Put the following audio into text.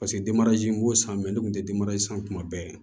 Paseke denmarazi m'o san mɛ ne kun tɛ san tuma bɛɛ